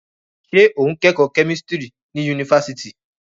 Ṣé o ń kẹ́kọ̀ọ́ kẹ́mísítírì ní yunifásitì?